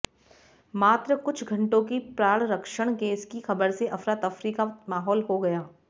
मात्र कुछ घंटों की प्राणरक्षण गैस की खबर से अफरा तफरी का माहौल हो गया